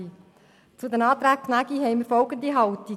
Zu den Anträgen Gnägi haben wir folgende Haltung: